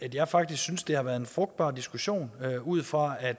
at jeg faktisk synes det har været en frugtbar diskussion ud fra at